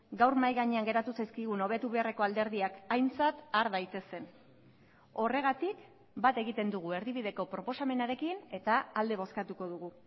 gaur mahai gainean geratu zaizkigun hobetu beharreko alderdiak aintzat har daitezen horregatik bat egiten dugu erdibideko proposamenarekin eta alde bozkatuko dugu